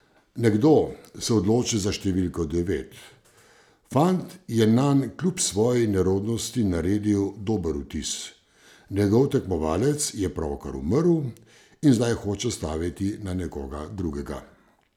Nekdo se odloči za številko devet, fant je nanj kljub svoji nerodnosti naredil dober vtis, njegov tekmovalec je pravkar umrl in zdaj hoče staviti na nekoga drugega.